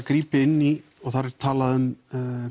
grípi inn í og þar er talað um